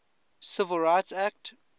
civil rights act